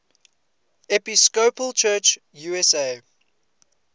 episcopal church usa